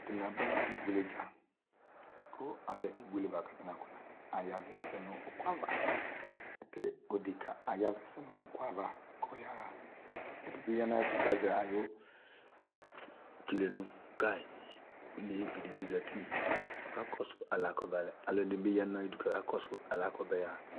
Atanɩaɓa ɩɓʊeleɗja atanɩ ɓana ƴaʋɛ nʊ ʊƙʊaʋa oleʋɩɗɩ aƴaʋɛ nʊ aƴaʋa ƙʊ ɔƴaha ɔloɗɩɓiƴanʊ aƴɛtʊ azɛ ɛɓɛɓɔ ƙaƴɩ ɔleʋɩɗɩɓɩ ɔzatɩ alʊɛɗɩnɩɓɩ azatɩ aƙasʊɛsɛ